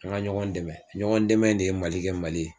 An ka ɲɔgɔn dɛmɛ, ɲɔgɔn dɛmɛ in de ye Mali kɛ Mali ye.